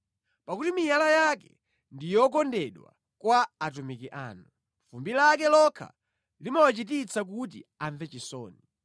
Pakuti miyala yake ndi yokondedwa kwa atumiki anu; fumbi lake lokha limawachititsa kuti amve chisoni.